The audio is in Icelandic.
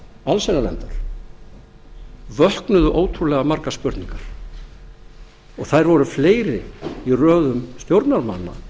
allsherjarnefndar vöknuðu ótrúlega margar spurningar þær voru fleiri í röðum stjórnarþingmanna